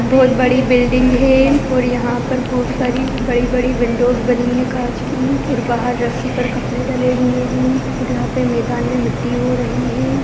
बहुत बड़ी बिल्डिंग है और यहाँ पर बहुत सारी बड़ी-बड़ी विंडोस बनी है कांच की और बाहर रस्सी पर कपड़े ड़ले हुए है यहाँ पे मैदान मे मिट्टी हो रही है।